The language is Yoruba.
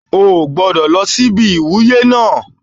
Ó ò gbọ́dọ̀ lọ síbi ìwúyé náà